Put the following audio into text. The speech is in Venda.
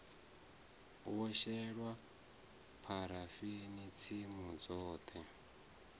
wo shelwa pharafeni tsimu dzoṱhe